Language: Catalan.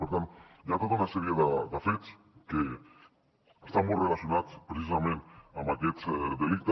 per tant hi ha tota una sèrie de fets que estan molt relacionats precisament amb aquests delictes